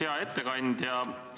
Hea ettekandja!